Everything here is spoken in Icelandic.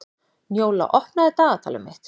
Njóla, opnaðu dagatalið mitt.